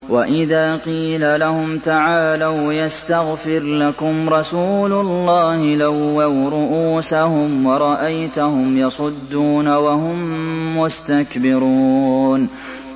وَإِذَا قِيلَ لَهُمْ تَعَالَوْا يَسْتَغْفِرْ لَكُمْ رَسُولُ اللَّهِ لَوَّوْا رُءُوسَهُمْ وَرَأَيْتَهُمْ يَصُدُّونَ وَهُم مُّسْتَكْبِرُونَ